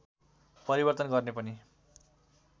परिवर्तन गर्ने पनि